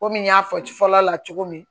Komi n y'a fɔ ci fɔlɔ la cogo min